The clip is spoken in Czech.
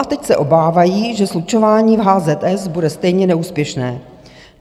A teď se obávají, že slučování v HZS bude stejně neúspěšné.